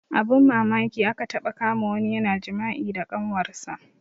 Abun mamaki aka taɓa kama wani yana jima'i da kanwar sa